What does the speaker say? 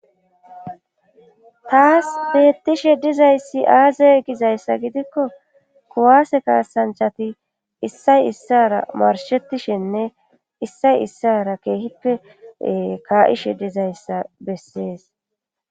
Taas beettishe dizayssi aazey gizayssa gidikko kuwaase kaasanchati issay issara marshettishenne issay issara keehippe kaa7ishe dizayssa bessees.